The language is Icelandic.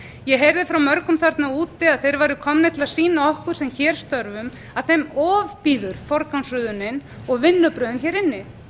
ég heyrði frá mörgum þarna úti að þeir væru komnir til að sýna okkur sem hér störfum að þeim ofbýður forgangsröðunin og vinnubrögðin hér inni